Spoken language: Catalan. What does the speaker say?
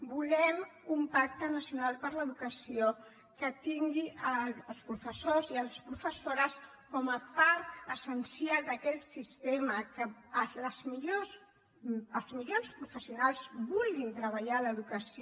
volem un pacte nacional per l’educació que tingui els professors i les professores com a part essencial d’aquell sistema que els millors professionals vulguin treballar a l’educació